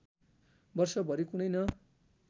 वर्षभरि कुनै न